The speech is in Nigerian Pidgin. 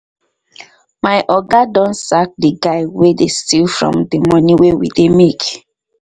my oga don sack the guy wey dey steal from the money wey we dey make